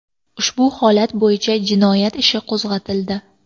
Ushbu holat bo‘yicha jinoyat ishi qo‘zg‘atildi.